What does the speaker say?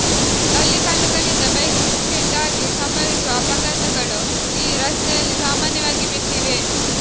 ಜಲ್ಲಿಕಲ್ಲುಗಳಿಂದ bike skid ಆಗಿ ಸಂಭವಿಸುವ ಅಪಘಾತಗಳು ಈ ರಸ್ತೆಯಲ್ಲಿ ಸಾಮಾನ್ಯವಾಗಿ ಬಿಟ್ಟಿವೆ